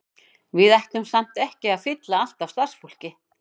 Við ætlum samt ekki að fylla allt af starfsfólki.